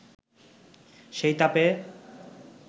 সেই তাপে